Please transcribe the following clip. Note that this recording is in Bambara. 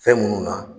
Fɛn munnu na